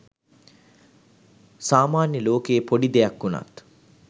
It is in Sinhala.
සාමාන්‍ය ලෝකයේ පොඩි දෙයක් වුණත්